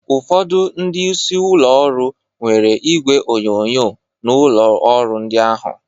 Ụfọdụ ndị isi ụlọ ọrụ nwere igwe onyonyo n'ụlọ ọrụ ndị ahụ